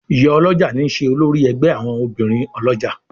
Ìyá olójà ní ṣe olórí ègbé àwọn obìrin olójà.